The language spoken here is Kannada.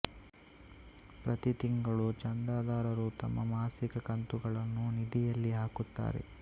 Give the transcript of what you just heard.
ಪ್ರತಿ ತಿಂಗಳು ಚಂದಾದಾರರು ತಮ್ಮ ಮಾಸಿಕ ಕಂತುಗಳನ್ನು ನಿಧಿಯಲ್ಲಿ ಹಾಕುತ್ತಾರೆ